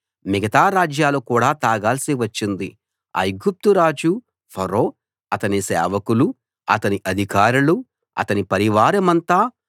మిగతా రాజ్యాలు కూడా తాగాల్సి వచ్చింది ఐగుప్తురాజు ఫరో అతని సేవకులూ అతని అధికారులూ అతని పరివారమంతా